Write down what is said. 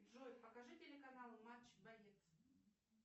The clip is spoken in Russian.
джой покажи телеканал матч боец